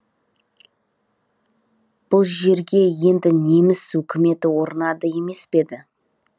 бұл жерге енді неміс өкіметі орнады емес пе еді